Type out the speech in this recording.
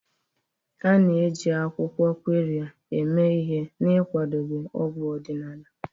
A na-eji akwụkwọ Qirya eme ihe n'ịkwadebe ọgwụ ọdịnala.